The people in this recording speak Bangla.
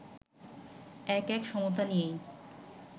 ১-১ সমতা নিয়েই